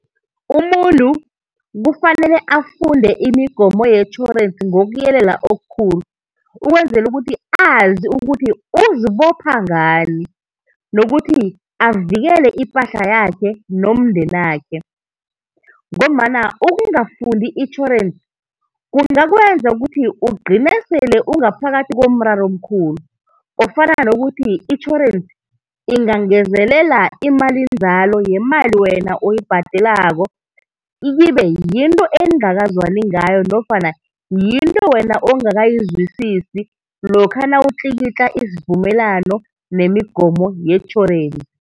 Umuntu kufanele afunde imigomo yetjhorensi ngokuyelela okukhulu, ukwenzela ukuthi azi ukuthi uzibopha ngani, nokuthi avikele ipahla yakhe nomndenakhe, ngombana ukungafundi itjhorensi kungakwenza ukuthi ugcine sele ungaphakathi komraro omkhulu ofana nokuthi itjhorensi ingangezelela imalinzalo yemali wena oyibhadelako ikibe yinto eningakazwani ngayo nofana yinto wena ongakayizwisisi lokha nawutlikitla isivumelwano nemigomo yetjhorensi.